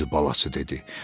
Fil balası dedi.